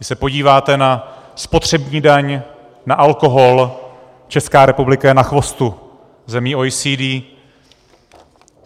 Když se podíváte na spotřební daň na alkohol, Česká republika je na chvostu zemí OECD.